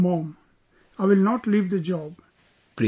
I said no mom, I will not leave the job